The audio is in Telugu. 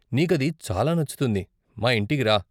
నీకు అది చాలా నచ్చుతుంది, మా ఇంటికి రా!